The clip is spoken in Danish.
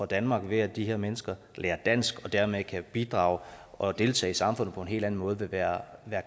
danmark ved at de her mennesker lærer dansk og dermed kan bidrage og deltage i samfundet på en helt anden måde vil være